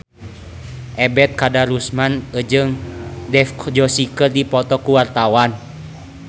Ebet Kadarusman jeung Dev Joshi keur dipoto ku wartawan